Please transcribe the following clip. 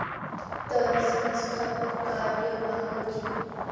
तर संस्थापक कार्यवाह जी.